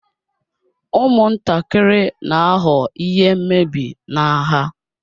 Ụmụntakịrị na-aghọ ihe mmebi n'agha